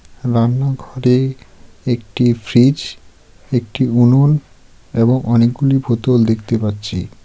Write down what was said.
রান্নাঘরে একটি ফ্রিজ একটি উনন এবং অনেকগুলি বোতল দেখতে পাচ্ছি.